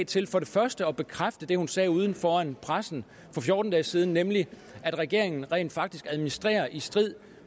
til for det første at bekræfte det hun sagde foran pressen for fjorten dage siden nemlig at regeringen rent faktisk administrerer i strid